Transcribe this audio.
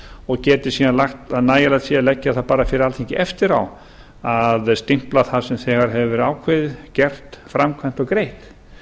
og sé nægilegt að leggja það fyrir alþingi eftir á að stimpla það sem þegar hefur verið ákveðið gert framkvæmt og greitt